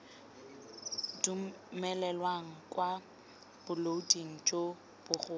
dumelelwang kwa bolaoding jo bogolo